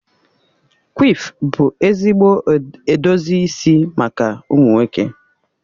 Quiff bụ ezigbo edozi isi maka ụmụ nwoke.